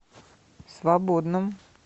свободном